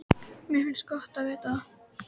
Mér finnst gott að vita það.